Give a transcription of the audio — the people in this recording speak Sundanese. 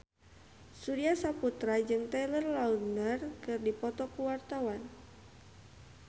Surya Saputra jeung Taylor Lautner keur dipoto ku wartawan